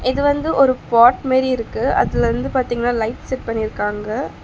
இது வந்து ஒரு பாட் மேரி இருக்கு அதிலருந்து பாத்தீங்னா ஒரு லைட் செட் பண்ணி இருக்காங்க.